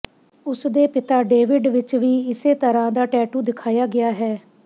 ਉਸਦੇ ਪਿਤਾ ਡੇਵਿਡ ਵਿਚ ਵੀ ਇਸੇ ਤਰ੍ਹਾਂ ਦਾ ਟੈਟੂ ਦਿਖਾਇਆ ਗਿਆ ਹੈ